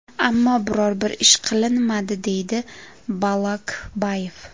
Ammo biror bir ish qilinmadi”, deydi Bolokbayev.